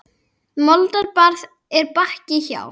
Moldar barð er Bakka hjá.